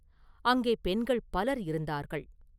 அங்கே பெண்கள் பலர் இருந்தார்கள்.